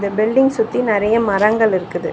Building சுத்தி நெறைய மரங்கள் இருக்குது.